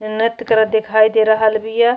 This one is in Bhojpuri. नृत्य करत दिखाई दे रहल बीया।